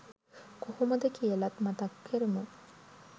කොහොමද කියලත් මතක් කරමු?